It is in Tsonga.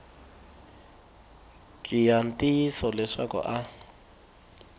ki ya ntiyiso leswaku a